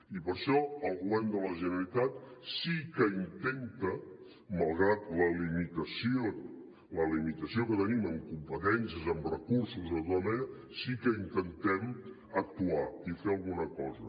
i per això el govern de la generalitat sí que intenta malgrat la limitació que tenim en competències en recursos de tota mena sí que intentem actuar i fer alguna cosa